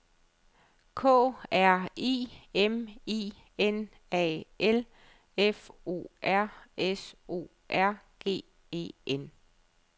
K R I M I N A L F O R S O R G E N